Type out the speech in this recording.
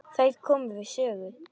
Þær komu við sögu.